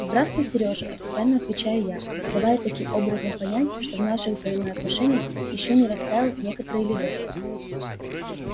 здравствуй сережа официально отвечаю я давая таким образом понять что в наших взаимоотношениях ещё не растаял некоторый ледок